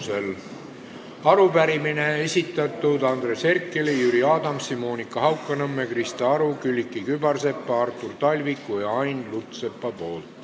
Esimene arupärimine, mille on esitanud Andres Herkel, Jüri Adams, Monika Haukanõmm, Krista Aru, Külliki Kübarsepp, Artur Talvik ja Ain Lutsepp.